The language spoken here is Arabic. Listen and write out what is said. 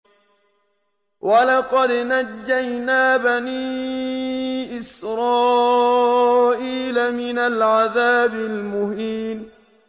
وَلَقَدْ نَجَّيْنَا بَنِي إِسْرَائِيلَ مِنَ الْعَذَابِ الْمُهِينِ